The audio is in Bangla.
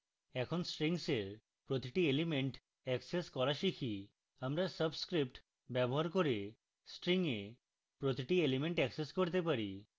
এখন strings এর প্রতিটি elements অ্যাক্সেস করা শিখি আমরা subscripts দ্বারা string we প্রতিটি elements অ্যাক্সেস করতে পারি